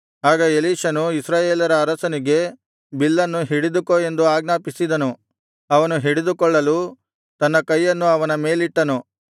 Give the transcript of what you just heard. ಆಗ ಎಲೀಷನು ಇಸ್ರಾಯೇಲರ ಅರಸನಿಗೆ ಬಿಲ್ಲನ್ನು ಹಿಡಿದುಕೋ ಎಂದು ಆಜ್ಞಾಪಿಸಿದನು ಅವನು ಹಿಡಿದುಕೊಳ್ಳಲು ತನ್ನ ಕೈಯನ್ನು ಅವನ ಕೈಮೇಲಿಟ್ಟನು